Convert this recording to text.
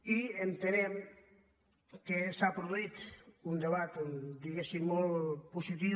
i entenem que s’ha produït un debat diguéssim molt positiu